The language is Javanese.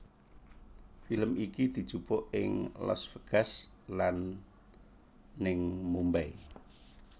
Film iki dijupuk ing Las Vegas lan ning Mumbai